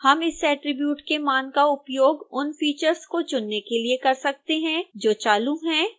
हम इस attribute के मान का उपयोग उन फीचर्स को चुनने के लिए कर सकते हैं जो चालू हैं